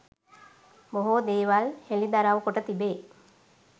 බොහෝ දේවල් හෙළිදරව් කොට තිබේ